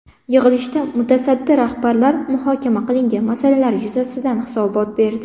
Yig‘ilishda mutasaddi rahbarlar muhokama qilingan masalalar yuzasidan hisobot berdi.